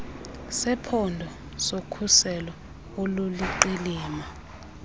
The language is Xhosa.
sephondo sokhuselo oluliqilima